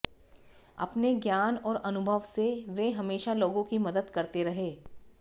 अपने ज्ञान और अनुभव से वे हमेशा लोगों की मदद करते रहे